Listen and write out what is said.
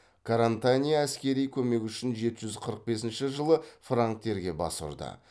карантания әскери көмек үшін жеті жүз қырық бесінші жылы франктерге бас ұрды